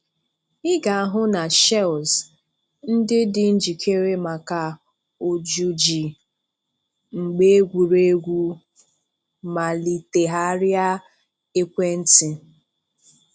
Ị ga-ahụ na shells ndị dị njíkèrè maka ojùji mgbe egwuregwu Malitegharịa ekwèntị.